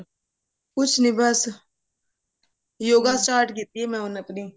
ਕੁੱਛ ਨਹੀਂ ਬਸ yoga start ਕੀਤੀ ਹੈ ਮੈਂ ਉਹਨੇ ਕ ਦਿਨ